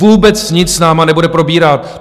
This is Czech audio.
Vůbec nic s námi nebude probírat.